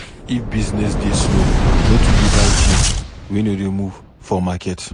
If business dey slow, no too dey buy tins wey no dey move for market.